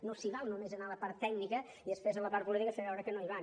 no s’hi val només anar a la part tècnica i després a la part política fer veure que no hi van